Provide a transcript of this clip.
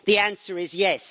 The answer is yes.